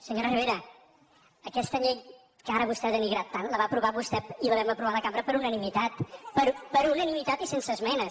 bera aquesta llei que ara vostè ha denigrat tant la va aprovar vostè i la vam aprovar la cambra per unanimitat per unanimitat i sense esmenes